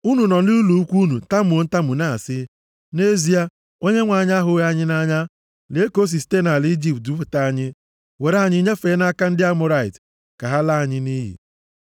Unu nọ nʼụlọ ikwu unu tamuo ntamu na-asị, “Nʼezie Onyenwe anyị ahụghị anyị nʼanya. Lee ka o si site nʼala Ijipt dupụta anyị were anyị nyefee nʼaka ndị Amọrait ka ha laa anyị nʼiyi!